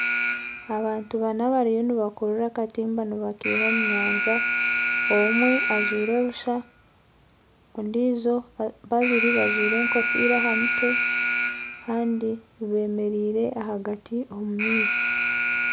Abantu nana bariyo nibakurura akatimba nibakeiha omu nyanja omwe ajwaire busha babiri bajwaire enkofiira aha mutwe Kandi bemereire ahagati omu maizi